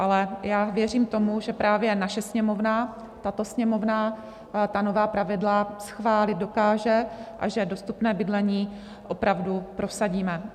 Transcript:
Ale já věřím tomu, že právě naše Sněmovna, tato Sněmovna ta nová pravidla schválit dokáže a že dostupné bydlení opravdu prosadíme.